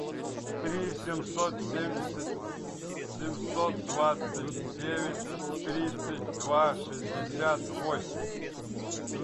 три семьсот семьдесят семьсот двадцать девять тридцать два шестьдесят восемь